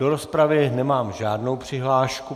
Do rozpravy nemám žádnou přihlášku.